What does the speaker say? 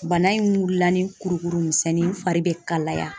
Bana in wulila ni kurukuru misɛnnin, n fari bɛ kalaya.